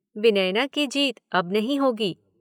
विनयना की जीत अब नहीं होगी।